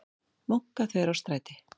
Munkaþverárstræti